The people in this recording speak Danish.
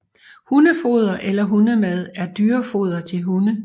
Hundefoder eller hundemad er dyrefoder til hunde